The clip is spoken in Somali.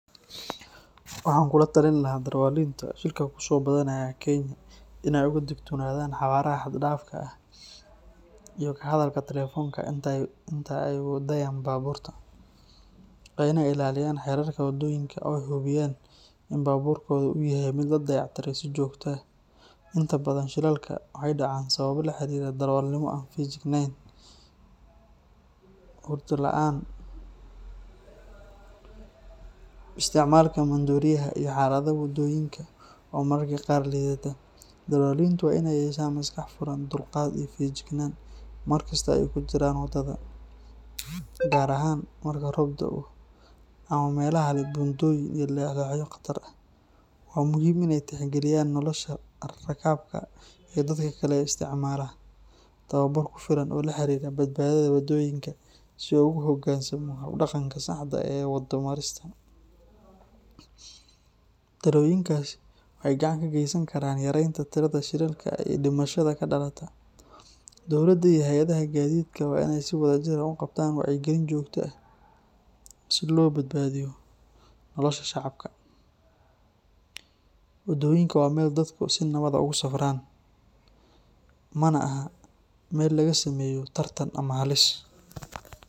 Waxaan kula talin lahaa darawaliinta shilka kusoo badanaya Kenya in ay aad uga digtoonaadaan xawaaraha xad-dhaafka ah iyo ka hadalka telefoonka inta ay wadayaan baabuurta. Waa in ay ilaaliyaan xeerarka waddooyinka oo ay hubiyaan in baabuurkoodu uu yahay mid la dayactiray si joogto ah. Inta badan shilalka waxay dhacaan sababo la xiriira darawalnimo aan feejignayn, hurdo la’aan, isticmaalka maandooriyaha, iyo xaalada waddooyinka oo mararka qaar liidata. Darawaliintu waa in ay yeeshaan maskax furan, dulqaad, iyo feejignaan markasta oo ay ku jiraan waddada, gaar ahaan marka roob da’o ama meelaha leh buundooyin iyo leexleexyo khatar ah. Waa muhiim in ay tixgeliyaan nolosha rakaabka iyo dadka kale ee isticmaala waddooyinka. Waxaa sidoo kale muhiim ah in darawal kasta uu helo tababar ku filan oo la xiriira badbaadada waddooyinka si uu ugu hoggaansamo hab-dhaqanka saxda ah ee waddo marista. Talooyinkaasi waxay gacan ka geysan karaan yareynta tirada shilalka iyo dhimashada ka dhalata. Dowladda iyo hay’adaha gaadiidka waa in ay si wadajir ah u qabtaan wacyigelin joogto ah si loo badbaadiyo nolosha shacabka. Waddooyinka waa meel dadku si nabad ah ugu safraan, mana aha meel laga sameeyo tartan ama halis.